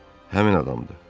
Həmin adamdır.